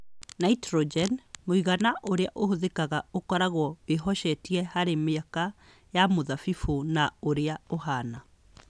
Nitrogen - mũigana ũrĩa ũhũthĩkaga ũkoragwo wĩhocetie harĩ mĩaka ya mũthabibũ na ũrĩa ũhaana